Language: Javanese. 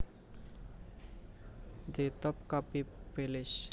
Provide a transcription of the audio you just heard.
The Topkapi Palace